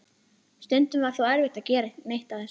Stundum var þó erfitt að gera neitt af þessu.